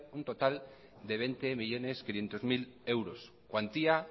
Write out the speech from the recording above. un total de veinte millónes quinientos mil euros cuantía